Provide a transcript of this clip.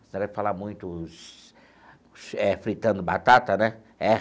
Você não deve falar muitos eh fritando batata, né? É.